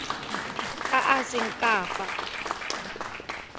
a a seng ka fa